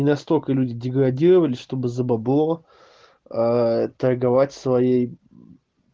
настолько люди деградировали чтобы за бабло а торговать своей